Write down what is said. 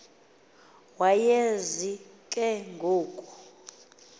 wayazi ke ngoku